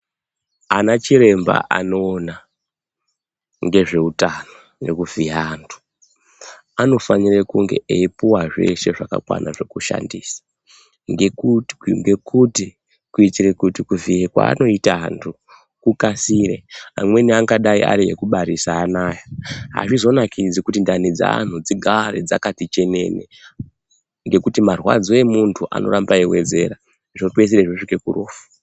Ana chiremba anoona ngezveutano nekuvhiya antu anofanire kunge eipuwe zveshe zvakwana zvekushandisa ngekuti kuitire kuti kuvhiye kwaanoita anhu kukasire amweni angadai ari ekubarisa anoaya azvizonakidzi kuti ndani dzeanhu dzigare dzakati chenene ngekuti marwadzo emuntu anoramba eiwedzera zvopedzisire zvosvike kurufu.